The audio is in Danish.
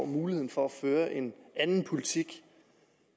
muligheden for at føre en anden politik